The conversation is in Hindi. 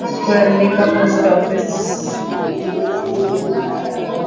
कुरंदी का पोस्ट ऑफिस --